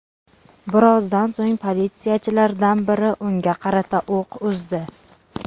Birozdan so‘ng politsiyachilardan biri unga qarata o‘q uzdi.